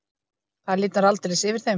Það lifnar aldeilis yfir þeim.